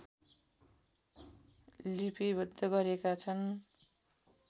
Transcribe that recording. लिपिबद्ध गरेका छन्